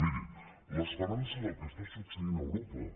miri l’esperança del que està succeint a europa